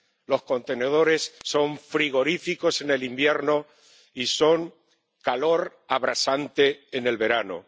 Los contenedores son frigoríficos en el invierno y son calor abrasante en el verano.